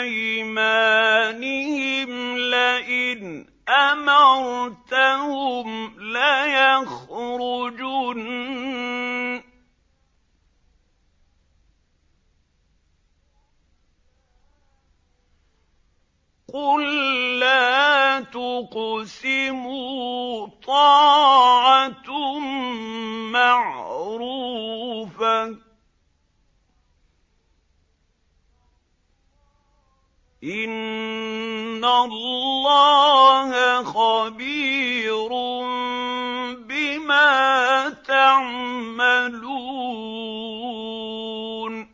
أَيْمَانِهِمْ لَئِنْ أَمَرْتَهُمْ لَيَخْرُجُنَّ ۖ قُل لَّا تُقْسِمُوا ۖ طَاعَةٌ مَّعْرُوفَةٌ ۚ إِنَّ اللَّهَ خَبِيرٌ بِمَا تَعْمَلُونَ